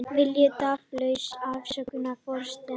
Vilja tafarlausa afsögn forsetans